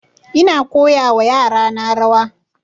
Ina koya wa yara na rawa